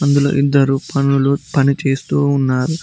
ఇందులో ఇద్దరు పనులు పని చేస్తూ ఉన్నారు.